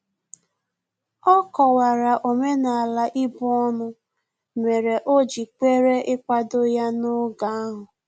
Ọ kọwara omenala ibu ọnụ mere o ji kwere ikwado ya n'oge ahu